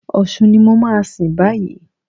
Ọ̀ṣun ni mo máa sìn báyìí.